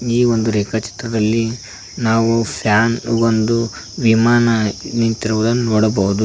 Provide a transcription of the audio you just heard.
ಈ ಒಂದು ರೇಖಾ ಚಿತ್ರದಲ್ಲಿ ನಾವು ಫ್ಯಾನ್ ಒಂದು ವಿಮಾನ ನಿಂತಿರುವುದನ್ನು ನೋಡಬಹುದು.